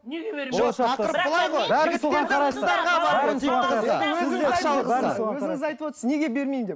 неге бермеймін өзіңіз айтып отырсыз неге бермеймін деп